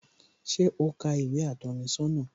Ṣé o ka ìwé atọ́ni sọ́nà?